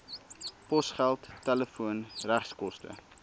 posgeld telefoon regskoste